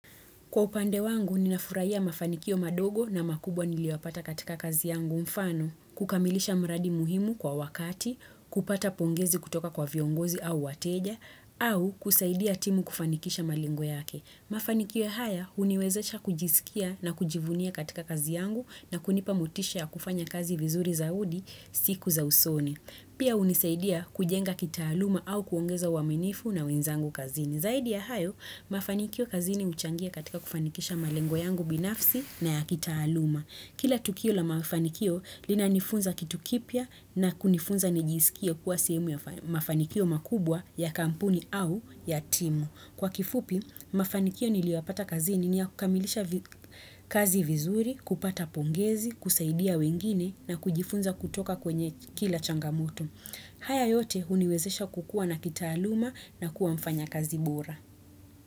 Kwa upande wangu, ninafurahia mafanikio madogo na makubwa niliyoyapata katika kazi yangu mfano, kukamilisha mradi muhimu kwa wakati, kupata pongezi kutoka kwa viongozi au wateja, au kusaidia timu kufanikisha malengo yake. Mafanikio ya haya, huniwezesha kujisikia na kujivunia katika kazi yangu na kunipa motisha ya kufanya kazi vizuri zaidi siku za usoni. Pia hunisaidia kujenga kitaaluma au kuongeza uaminifu na wenzangu kazini. Zaidi ya hayo, mafanikio kazini huchangia katika kufanikisha malengo yangu binafsi na ya kitaaluma. Kila tukio la mafanikio lina nifunza kitu kipya na kunifunza nijisikie kuwa sehemu ya mafanikio makubwa ya kampuni au ya timu. Kwa kifupi, mafanikio niliyoyapata kazini ni ya kukamilisha kazi vizuri, kupata pongezi, kusaidia wengine na kujifunza kutoka kwenye kila changamoto. Haya yote huniwezesha kukua na kitaaluma na kuwa mfanyakazi bora.